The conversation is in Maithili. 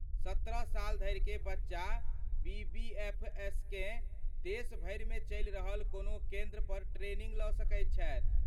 सत्रह साल धरिकेँ बच्चा बीबीएफएसकेँ देश भरिमे चलि रहल कोनो केन्द्र पर ट्रेनिंग लऽ सकैत छथि।